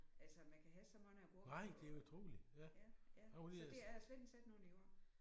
Altså man kan have så mange agurker på ja ja så det jeg har slet ikke selv nogen i år